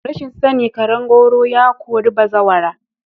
Rashin sani karen gwauro ya kori bazawara.